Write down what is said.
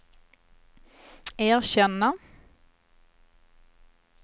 erkänna